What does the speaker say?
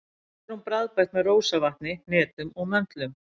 Oft er hún bragðbætt með rósavatni, hnetum og möndlum.